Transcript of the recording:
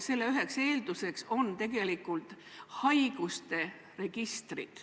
Selle üheks eelduseks on haiguste registrid.